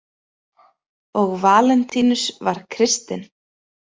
Og Valentínus var kristinn.